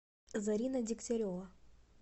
зарина дегтярева